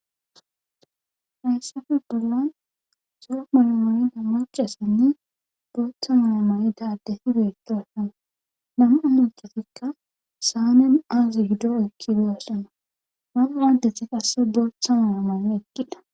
Hayssafe bollan soof malamayida macassanni booththa malamayi daadesi beetosana namaanutetikka saanen aazi gido ekki doassana mana aaddetha qasse booththa maamane ekkida.